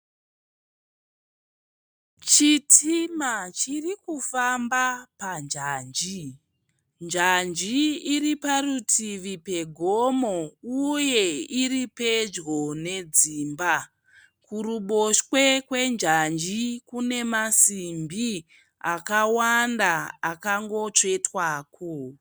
Chitima chiri kufamba pa njanji. Njanji iri parutivi pe gomo uye iri pedyo ne dzimba. Kuruboshwe kwe njanji kune masimbi akawanda akangotsvetwako.